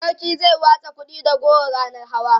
sarki zai watsa kuɗi da goro ranan hawa